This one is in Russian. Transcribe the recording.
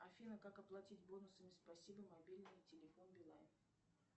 афина как оплатить бонусами спасибо мобильный телефон билайн